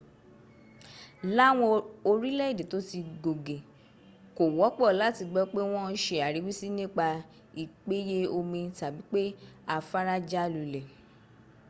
láwọn orílẹ̀èdè tó ti gògè kò wọ́pọ̀ láti gbọ́ pé wọ́n ń se àríwísí nípa ìpéye omi tàbí pé afára já lulẹ̀